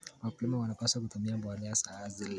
Wakulima wanapaswa kutumia mbolea za asili.